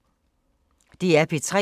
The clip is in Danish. DR P3